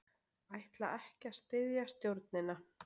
Ætla ekki að styðja stjórnina